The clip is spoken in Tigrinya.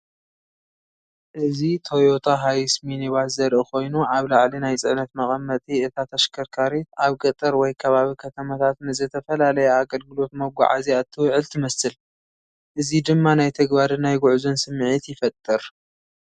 እዚ ቶዮታ ሃይስ ሚኒባስ ዘርኢ ኮይኑ ኣብ ላዕሊ ናይ ጽዕነት መቐመጢ እታ ተሽከርካሪት ኣብ ገጠር ወይ ከባቢ ከተማታት ንዝተፈላለየ ኣገልግሎት መጓዓዝያ እትውዕል ትመስል፡ እዚ ድማ ናይ ተግባርን ናይ ጉዕዞን ስምዒት ይፈጥር።